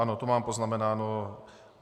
Ano, to mám poznamenáno.